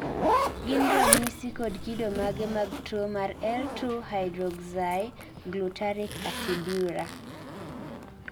gin ranyisi kod kido mage mag tuwo mar L 2 hydroxyglutaric aciduria?